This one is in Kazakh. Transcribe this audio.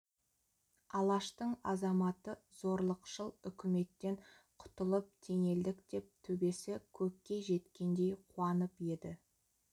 алаштың азаматы зорлықшыл үкіметтен құтылып теңелдік деп төбесі көкке жеткендей қуанып еді